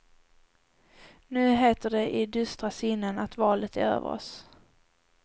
Nu heter det i dystra sinnen att valet är över oss.